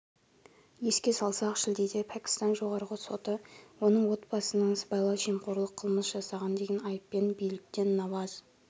еске салсақ шілдеде пәкістан жоғарғы соты оның отбасының сыбайлас жемқорлық қылмыс жасаған деген айыппен биліктен наваз